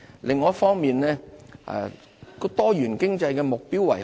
另一方面，多元經濟的目標為何？